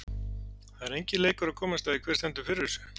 Það er enginn leikur að komast að því, hver stendur fyrir þessu.